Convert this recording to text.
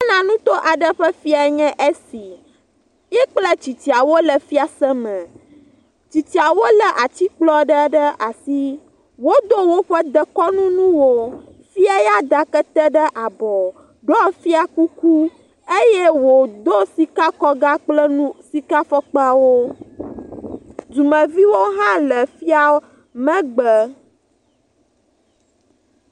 Ghana nuto ƒe fia aɖee nye esi. Ye kple Tsitsiawo le fiaseme. Tsitsiawo lé atsikplɔ ɖe ɖe asi. Wodo ɖoƒe dekɔnu nuwo. Fia yaa, da kete ɖe abɔ, do fiakuku eye wòdo sikakɔga kple nu, sikafɔkpawo. Dumeviwo hã le fia megbe